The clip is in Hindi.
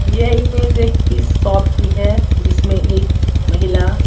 यह इमेज एक फिश शॉप की है जिसमें एक महिला --